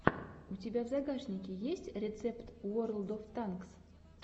у тебя в загашнике есть рецепт уорлд оф танкс